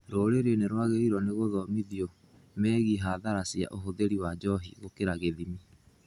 Rũrĩrĩ nĩrwagĩrĩirwo nĩ gũthomithio megiĩ hathara cia ũhũthĩri wa njohi gũkĩria gĩthimi